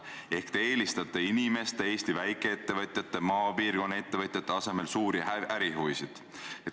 Seega te eelistate Eesti väikeettevõtjate, sh maapiirkonna ettevõtjate asemel suurte tegijate ärihuvisid.